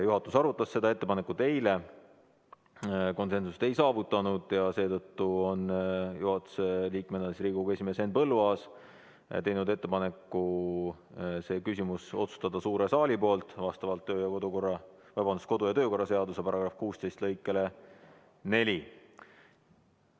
Juhatus arutas seda ettepanekut eile, konsensust ei saavutanud ja seetõttu on Riigikogu esimees Henn Põlluaas juhatuse liikmena teinud ettepaneku see küsimus otsustada suures saalis vastavalt kodu- ja töökorra seaduse § 16 lõikele 4.